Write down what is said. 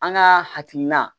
An ka hakilina